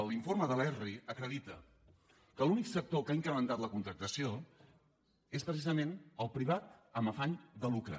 l’informe de l’eesri acredita que l’únic sector que ha incrementat la contractació és precisament el privat amb afany de lucre